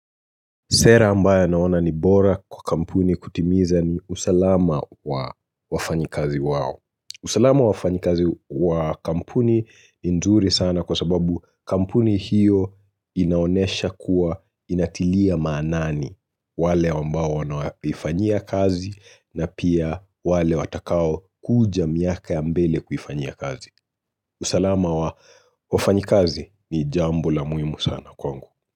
Sera ambayo naona ni bora kwa kampuni kutimiza ni usalama wa wafanyikazi wao. Usalama wa wafanyikazi wa kampuni ni nzuri sana kwa sababu kampuni hiyo inaonyesha kuwa inatilia maanani wale wamba wanaifanyia kazi na pia wale watakao kuja miaka ya mbele kufanyia kazi. Usalama wa wafanyikazi ni jambo la muhimu sana kwangu.